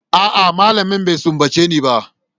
A'a, malamin bai sumbace ni ba.